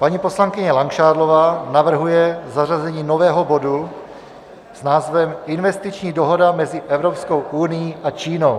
Paní poslankyně Langšádlová navrhuje zařazení nového bodu s názvem Investiční dohoda mezi Evropskou unií a Čínou.